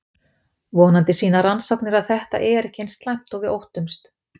Vonandi sýna rannsóknir að þetta er ekki eins slæmt og við óttumst.